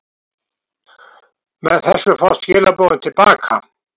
Með þessu fást skilaboðin til baka.